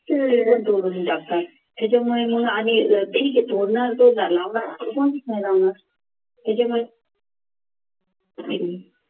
सगळं तोडून टाकतात त्याच्यामुळे मग आधी